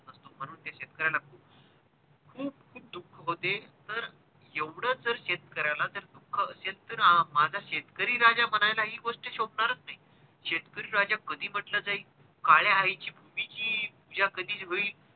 खूप खूप दुःख होते तर एवढ जर शेतकऱ्याला जर दुःख असले तर माझा शेतकरी राजा म्हणायला ही गोष्ट शोभणारच नाही शेतकरी राजा कधी म्हंटल जाईल काळ्या आईची भुमीची पूजा कधी होईल.